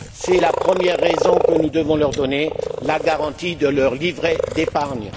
C'est la première raison que nous devons leur donner la garantie de leur livret d'épargne.